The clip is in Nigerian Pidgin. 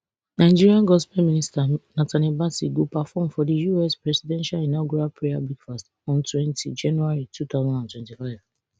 nigerian gospel minister nathaniel bassey go perform for di us presidential inaugural prayer breakfast on twenty january two thousand and twenty-five